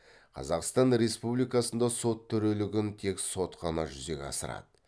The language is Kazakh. қазақстан республикасында сот төрелігін тек сот қана жүзеге асырады